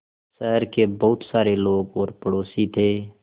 शहर के बहुत सारे लोग और पड़ोसी थे